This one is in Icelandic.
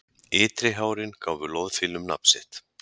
Ytri hárin gáfu loðfílum nafn sitt.